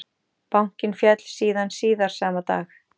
Bankinn féll síðan síðar sama dag